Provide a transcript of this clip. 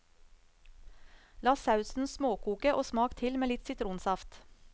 La sausen småkoke og smak til med litt sitronsaft.